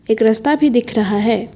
एक रास्ता भी दिख रहा है।